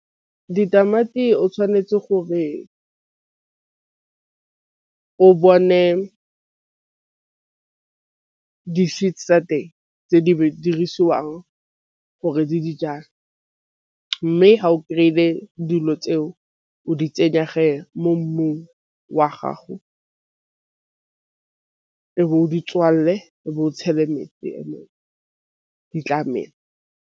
Ditamati o tšhwanetse gore o bone di-seeds tsa teng tse di dirisiwang gore dijang, mme ga o kry-ile dilo tseo o di tsenya mo mmung wa gago o di tswalele o bo o tšhele metsi eno ditlamelo.